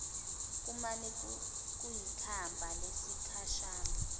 kumane kuyikhambi lesikhashana